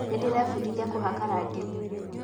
Nĩndĩrebundithia kũhaka rangi